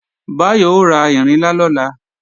Báyọ̀ ó ra ìrinlá lọ́la